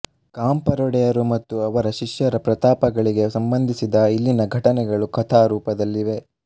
ಗಾಂಪರೊಡೆಯರು ಮತ್ತು ಅವರ ಶಿಷ್ಯರ ಪ್ರತಾಪಗಳಿಗೆ ಸಂಬಂಧಿಸಿದ ಇಲ್ಲಿನ ಘಟನೆಗಳು ಕಥಾರೂಪದಲ್ಲಿವೆ